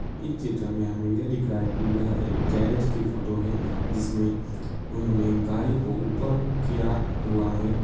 इस चित्र में हमें यह दिख रहा है कि यह एक गैरेज की फोटो है। जिसमे उन्होंने एक गाड़ी को ऊपर किया हुआ है।